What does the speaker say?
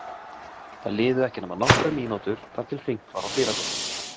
Það liðu ekki nema nokkrar mínútur þar til hringt var á dyrabjöllunni.